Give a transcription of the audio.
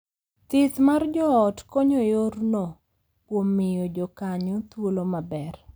Thieth mar joot konyo yorno kuom miyo jokanyo thuolo maber